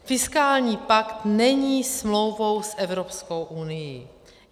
Fiskální pakt není smlouvou s Evropskou unií.